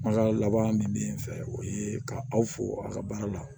Kumakan laban min bɛ yen n fɛ o ye ka aw fo a ka baara la